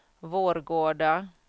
Vårgårda